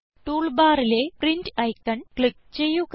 tool ബാറിലെ print icon click ചെയ്യുക